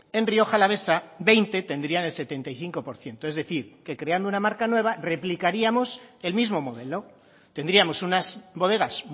en rioja alavesa veinte tendrían el setenta y cinco por ciento es decir que creando una marca nueva replicaríamos el mismo modelo tendríamos unas bodegas